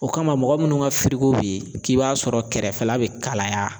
O kama mɔgɔ munnu ka firiko bi k'i b'a sɔrɔ kɛrɛfɛla be kalaya